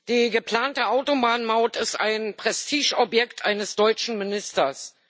Die geplante Autobahnmaut ist ein Prestigeobjekt eines deutschen Ministers.